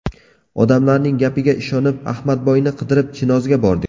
Odamlarning gapiga ishonib, Ahmadboyni qidirib Chinozga bordik.